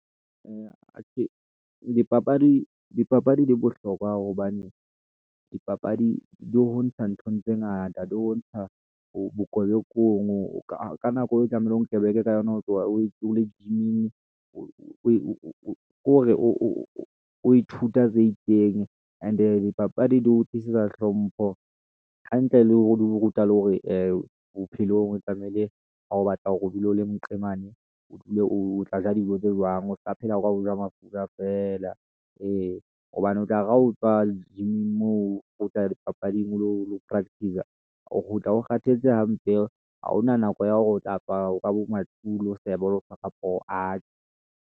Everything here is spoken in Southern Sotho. Atjhe! Dipapadi di bohlokwa hobane dipapadi di ho ntsha nthong tse ngata, di ho ntsha bokebekong ka nako e tlamehileng o kebeke ka yona o tloha ole gym-ing. Ko re o ithuta tse itseng and-e dipapadi di o tlisetsa hlompho hantle le hore di o ruta le hore bophelong tlamehile ha o batla hore o dule o le mqemani, o tla ja dijo tse jwang o ska phela o ja mafura feela, ee. Hobane o tla re ha o tswa le gym-ing moo, o tle dipapading, o lo practice-sa, o kgutla o kgathetse hampe, ha hona nako ya hore o tla apara ka bo ma two o lo seba o tshwara poho. Atjhe.